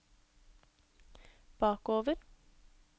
bakover